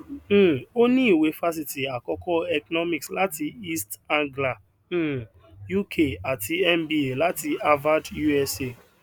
um o ni iwe fáṣítì àkọkọ economics láti east anglia um uk àti mba láti harvard usa